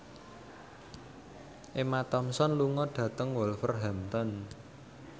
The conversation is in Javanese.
Emma Thompson lunga dhateng Wolverhampton